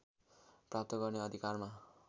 प्राप्त गर्ने अधिकारमा